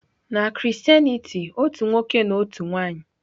Na Christianity, otu nwoke na otu nwanyị.